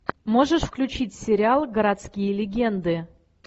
можешь включить сериал городские легенды